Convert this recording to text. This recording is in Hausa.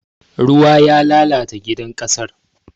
Ruwa ya lalata gidan ƙasar.